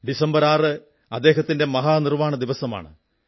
December 6 അദ്ദേഹത്തിന്റെ മഹാനിർവ്വാണ ദിവസമാണ്